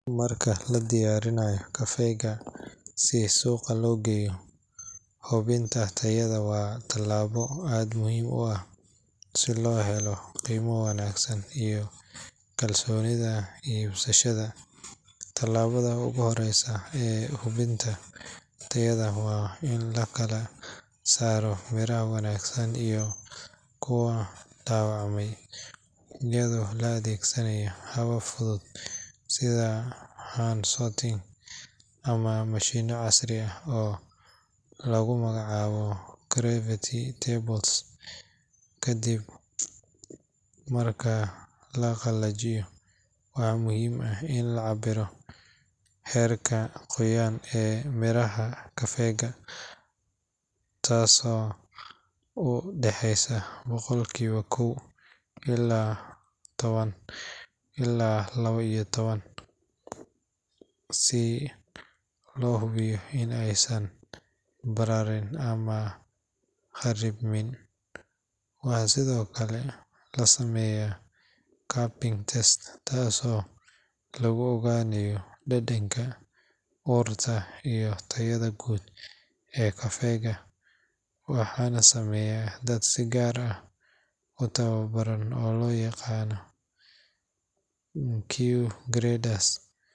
Marka la diyaarinayo kafeega si suuqa loo geeyo, hubinta tayada waa tallaabo aad muhiim u ah si loo helo qiimo wanaagsan iyo kalsoonida iibsadayaasha. Tallaabada ugu horreysa ee hubinta tayada waa in la kala saaro miraha wanaagsan iyo kuwa dhaawacmay iyadoo la adeegsanayo habab fudud sida hand sorting ama mashiinno casri ah oo lagu magacaabo gravity tables. Kadib marka la qalajiyo, waxaa muhiim ah in la cabbiro heerka qoyaan ee miraha kafeega, taasoo u dhaxeysa boqolkiiba kow iyo toban ilaa labo iyo toban si loo hubiyo in aysan bararin ama kharribmin. Waxaa sidoo kale la sameeyaa cupping test taasoo lagu ogaanayo dhadhanka, urta, iyo tayada guud ee kafeega, waxaana sameeya dad si gaar ah u tababaran oo loo yaqaan Q graders.